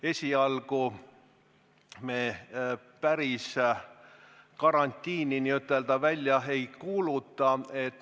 Esialgu me päris karantiini välja ei kuuluta.